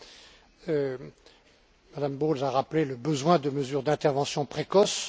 Mme Bowles a rappelé le besoin de mesures d'intervention précoce.